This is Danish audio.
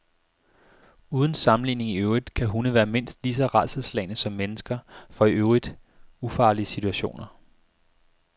Uden sammenligning i øvrigt kan hunde være mindst lige så rædselsslagne som mennesker for i øvrigt ufarlige situationer.